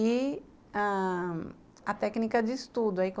E a a técnica de estudo.